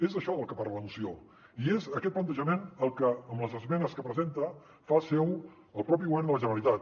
és d’això del que parla la moció i és aquest plantejament el que amb les esmenes que presenta fa seu el propi govern de la generalitat